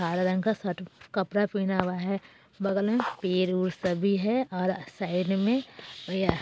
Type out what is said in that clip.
हरा रंग का शर्ट कपडा पेहना हुआ है बगल में पेड़-उड़ सभी है और साइड में --